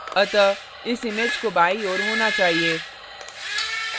अतः इस image को बायीं ओर होना चाहिए